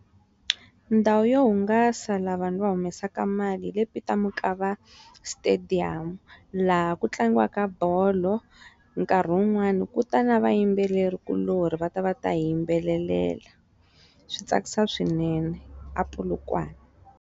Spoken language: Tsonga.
Ndhawu yo hungasa laha vanhu va humesaka mali hi le Peter Mokaba stadium laha ku tlangiwaka bolo nkarhi wun'wani kuta na vayimbeleri kulorhi va ta va ta hi yimbelelela swi tsakisa swinene a Polokwane.